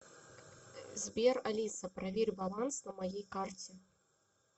сбер алиса проверь баланс на моей карте